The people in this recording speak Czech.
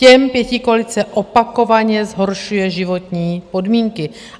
Těm pětikoalice opakovaně zhoršuje životní podmínky.